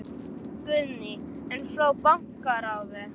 Guðný: En frá bankaráði?